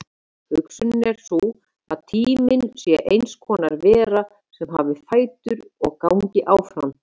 Hugsunin er sú að tíminn sé eins konar vera sem hafi fætur og gangi áfram.